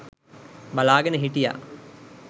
බලාගෙන හිටියා.